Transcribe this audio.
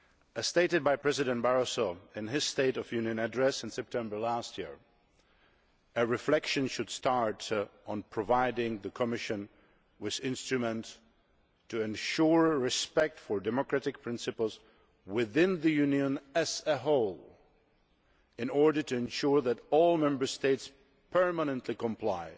As stated by President Barroso in his State of the Union address in September last year, a reflection should start on providing the Commission an instrument to ensure respect for democratic principles within the Union as a whole in order to ensure that all Member States permanently comply